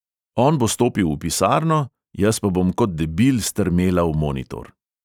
On bo stopil v pisarno, jaz pa bom kot debil strmela v monitor.